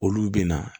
Olu bɛ na